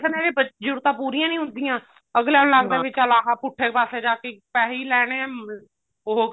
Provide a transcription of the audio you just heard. ਏਵੇਂ ਜ਼ਰੂਰਤਾਂ ਪੂਰੀਆਂ ਨੀ ਹੁੰਦੀਆਂ ਅਗਲਿਆਂ ਨੂੰ ਲੱਗਦਾ ਵੀ ਚੱਲ ਆਹ ਪੁੱਠੇ ਪਾਸੇ ਜਾ ਕੇ ਪੈਸੇ ਹੀ ਲੈਣੇ ਆ ਉਹ